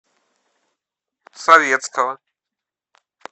советского